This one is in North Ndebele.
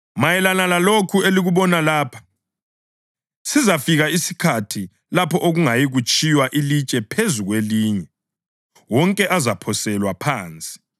“Mayelana lalokhu elikubona lapha, sizafika isikhathi lapho okungeyikutshiywa ilitshe phezu kwelinye; wonke azaphoselwa phansi.”